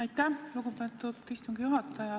Aitäh, lugupeetud istungi juhataja!